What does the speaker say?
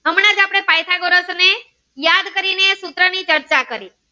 સૂત્ર ની ચર્ચા કરીએ